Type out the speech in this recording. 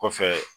Kɔfɛ